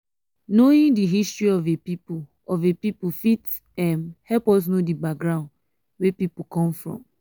knowing di history of a pipo of a pipo fit um help us know di background wey pipo come from